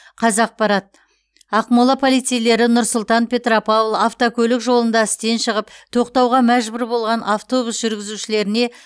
қазақпарат ақмола полицейлері нұр сұлтан петропавл автокөлік жолында істен шығып тоқтауға мәжбүр болған автобус жүргізушілеріне